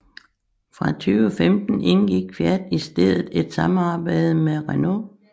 Fra 2015 indgik Fiat i stedet et samarbejde med Renault